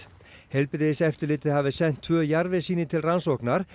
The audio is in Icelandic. heilbrigðiseftirlitið hafi sent tvö jarðvegssýni til rannsóknar